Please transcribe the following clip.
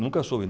Nunca soube.